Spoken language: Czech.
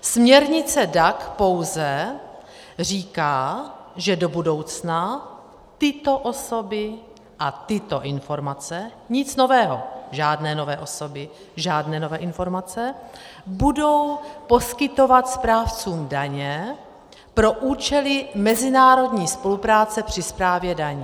Směrnice DAC pouze říká, že do budoucna tyto osoby a tyto informace - nic nového, žádné nové osoby, žádné nové informace - budou poskytovat správcům daně pro účely mezinárodní spolupráce při správě daní.